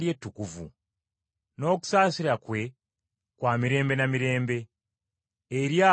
N’okusaasira kwe kwa mirembe na mirembe eri abo abamutya.